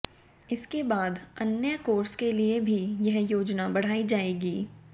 इसके बाद अन्य कोर्स के लिए भी यह योजना बढ़ाई जाएगी